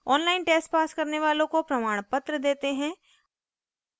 online test pass करने वालों को प्रमाणपत्र देते हैं